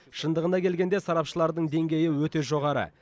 шындығына келгенде сарапшылардың деңгейі өте жоғары